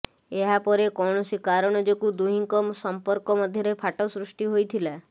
ଏହାପରେ କୌଣସି କାରଣ ଯୋଗୁଁ ଦୁହିଁଙ୍କ ସମ୍ପର୍କ ମଧ୍ୟରେ ଫାଟ ସୃଷ୍ଟି ହୋଇଥିଲା